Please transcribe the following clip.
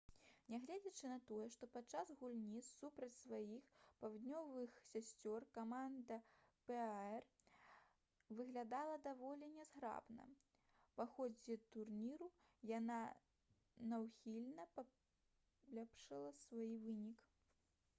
нягледзячы на тое што падчас гульні супраць сваіх паўднёвых сясцёр каманда пар выглядала даволі нязграбна па ходзе турніру яна няўхільна паляпшала свае вынікі